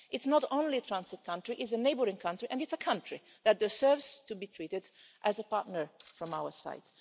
It's not only a transit country it is a neighbouring country, and it's a country, that deserves to be treated as a partner from our side.